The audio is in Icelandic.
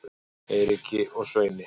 Eiríki og Sveini